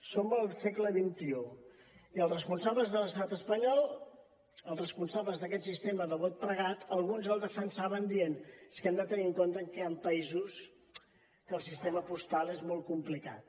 som al segle xxi i els responsables de l’estat espanyol els responsables d’aquest sistema de vot pregat alguns el defensaven dient és que hem de tenir en compte que hi han països que el sistema postal és molt complicat